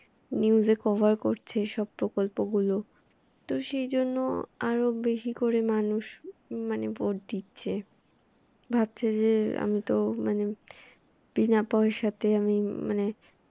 news cover করছে সব প্রকল্পগুলো তো সেজন্য আরও বেশি করে মানুষ মানে ভোট দিচ্ছে। ভাবছে যে আমি তো মানে বিনা পয়সাতে আমি মানে